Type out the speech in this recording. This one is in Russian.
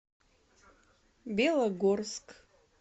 белогорск